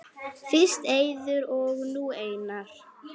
Fyrst Eiður og nú Einar??